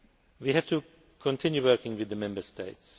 We have to continue working with the Member States.